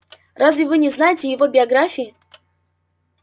разве вы не знаете его биографии